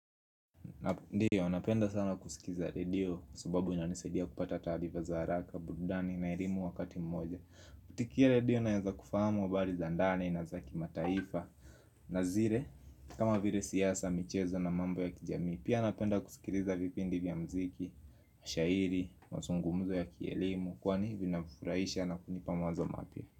Ndiyo, napenda sana kusikiza redio, sababu inanisaidia kupata taarifa za haraka, burudani, na elimu wakati mmoja. Kutikia redio naweza kufahamu habari za ndani na za kimataifa. Nazile, kama vile siasa, michezo na mambo ya kijamii, pia napenda kusikiliza vipindi vya mziki, shairi, mazungumzo ya kielimu, kwani vinafurahisha na kunipamazo mapia.